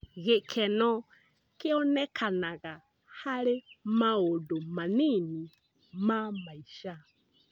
Gĩkeno kĩonekanaga harĩ maũndũ manini ma maica.